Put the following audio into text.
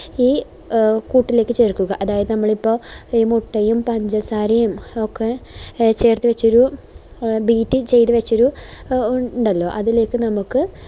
ഈ കൂട്ടിലേക് ചേർക്കുക അതായത് നമ്മളിപ്പോ ഈ മുട്ടയും പഞ്ചസാരയും ഒക്കെ ചേർത്തുവെച്ചോരു എ beat ചെയ്തുവെച്ചൊരു എ ഇണ്ടല്ലോ അതിലേക്ക് നമുക്ക്